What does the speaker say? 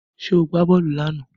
Ṣé ó gbá bọ́ọ̀lù lánàá?